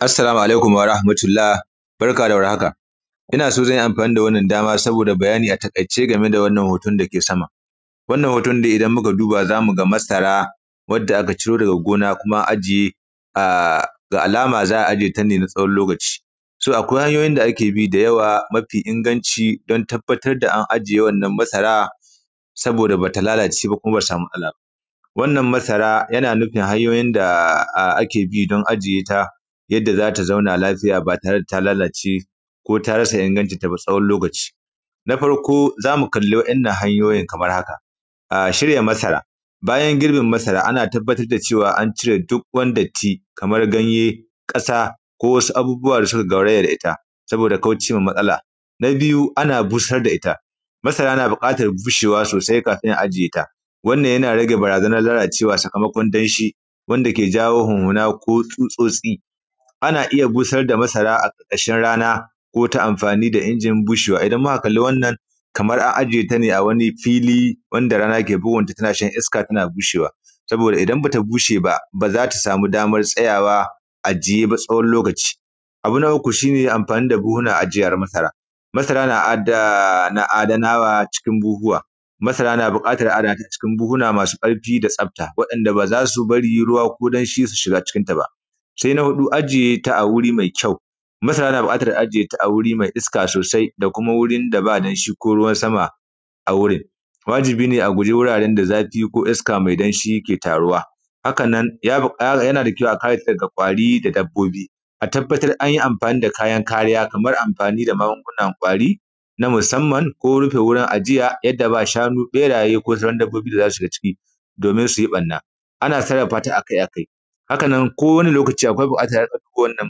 Assalamu alaikum wa rahmatullah. Barka da war haka. Ina so zan yi amfani da wannan dama saboda bayani a taƙaice game da wannan hoton da ke sama. Wannan hoton dai idan muka duba za mu ga masara, wadda aka ciro daga gona kuma an ajiye, a… ga alama za a ajiye ta ne na tsawon lokaci. So akwai hanyoyi da ake bi da yawa mafi inganci don tabbatar da an ajiye wannan masara saboda ba ta lalace ba kuma ba ta samu matsala ba. Wannan masara yana nufin hanyoyin da ake bi don ajiye ta, yadda za ta zauna lafiya, ba tare da ta lalace ko ta rasa ingancinta, tsawon lokaci. Na farko za mu kalli waɗannan hanyoyin kamar haka: shirya masara, bayan girbin masara, ana tabbatar da cewa an cire duk wani datti kamar ganye, ƙasa ko wasu abubuwa da suka gauraya da ita saboda kaucewar matsala. Na biyu, ana busar da ita. Masara na buƙatar bushewa sosai kafin a ajiye ta, wannan yana rage barazanar lalacewa sakamakon danshi, wanda yake jawo huhuna ko tsutsotsi. Ana iya busar da masara a ƙarƙashin rana ko ta amfani da injin bushewa. Idan muka kalli wannan, kamar an ajiye ta ne a wani fili wanda rana ke bugunta tana shan iska tana bushewa, saboda idan ba ta bushe ba, ba za ta samu damar tsayawa a ajiye ba, tsawon lokaci. Abu na uku shi ne amfani da buhuhunan ajiya na masara, masara na da adanawa cikin buhuhuwa, masara na buƙatar adana ta cikin buhuna masu ƙarfi da tsafta waɗanda ba za su bari ruwa ko danshi su shiga cikinta ba. Sai a huɗu, ajiye ta a wuri mai kyau, masara na buƙatar ajiye ta a wuri mai iska sosai da kuma wurin da ba danshi ko ruwan sama a wurin. Wajibi ne a guji wuraren da zafi ko iska mai danshi yake taruwa. Haka nan, yana da kyau a kare ta daga ƙwari da dabbobi. A tabbatar an yi amfani da kayan kariya kamar amfani da magungunan ƙwari na musamman ko rufe wurin ajiya yadda ba shanu, ɓeraye ko sauran dabbobi da za su shiga ciki, domin su yi ɓarna. Ana sarrafa ta a kai a kai. Haka nan, kowane lokaci akwai buƙatar a riƙa kula da kowanne ɗan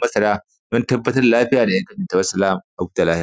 masara don tabbatar da lafiya da. Wassalam a huta lafiya.